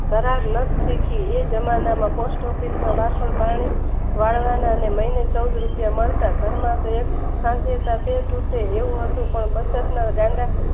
પરાર ના શીખ્યું એજમાંના માં પોસ્ટ ઓફિસના વાસણ પાણી વાળવાના લઈને ચૌદ રૂપિયા મળતા ઘરમાંથી એક